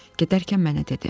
Gedərkən mənə dedi: